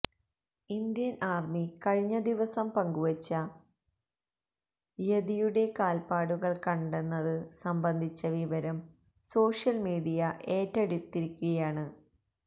Indian army കഴിഞ്ഞദിവസം പങ്കുവച്ച യതിയുടെ കാൽപ്പാടുകൾ കണ്ടെന്നത് സംബന്ധിച്ച വിവരം സോഷ്യൽ മീഡിയ ഏറ്റെടുത്തിരിക്കുകയാണ്